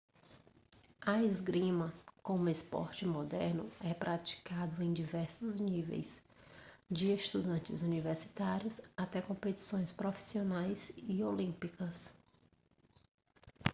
a esgrima como esporte moderno é praticado em diversos níveis de estudantes universitários até competições profissionais e olímpicas